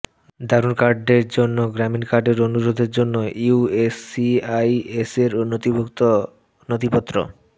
দারুন কার্ডের জন্য গ্রামীণ কার্ডের অনুরোধের জন্য ইউএসসিআইএসের নথিভুক্ত নথিপত্র